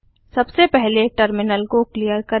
सबसे पहले टर्मिनल को क्लियर करें